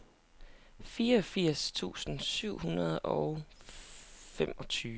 fireogfirs tusind syv hundrede og femogtyve